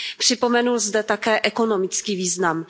Připomenu zde také ekonomický význam.